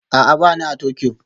A'a, ba ni a Tokyo